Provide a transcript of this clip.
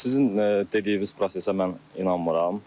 Sizin dediyiniz prosesə mən inanmıram.